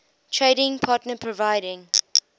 trading partner providing